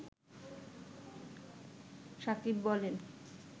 সাকিব বলেন